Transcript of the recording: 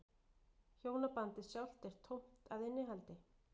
Hjónabandið sjálft er tómt að innihaldi.